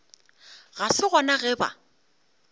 ga se gona ge ba